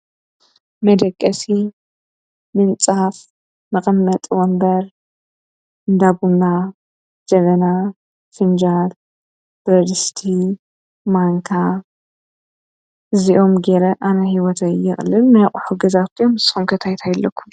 መደቀሲ፣ ፍንጃል፣ ወንበር፣ ብያቲ ወዘተ ገረ ይነብር ንስኹም ኸ?